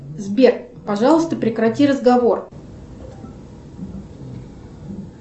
сбер пожалуйста прекрати разговор